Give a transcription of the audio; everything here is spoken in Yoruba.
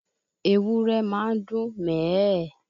Ewúrẹ́ máa ń dún mẹ̀ ẹ́ ẹ̀